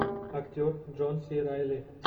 актер джон си райли